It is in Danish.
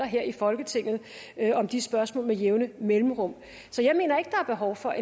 her i folketinget om de spørgsmål med jævne mellemrum så jeg mener ikke der er behov for